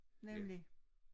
Nemlig